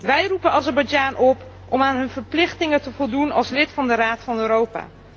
Wij roepen Azerbeidzjan op om aan zijn verplichtingen te voldoen als lid van de Raad van Europa.